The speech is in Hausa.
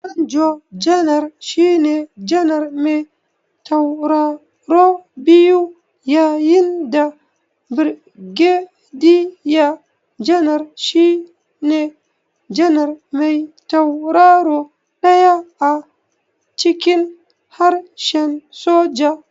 Manjo janar shine janar me tauraro biyu yayin da Birgediya janar shine janar me tauraro ɗaya a cikin harshen soja.